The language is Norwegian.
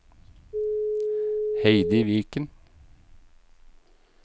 Heidi Viken